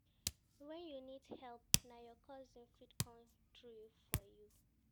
. Wen you need help, na your cousin fit come through for you.